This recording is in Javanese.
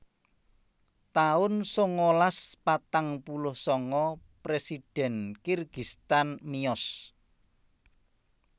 taun sangalas patang puluh sanga Presiden Kirgistan miyos